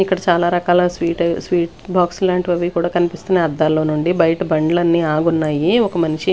ఇక్కడ చాలా రకాల స్వీట్ స్వీట్ బాక్స్ లాంటివి అవి కూడా కనిపిస్తున్నాయి అద్దాల్లో నుండి బయట బండ్లన్నీ ఆగున్నాయి ఒక మనిషి.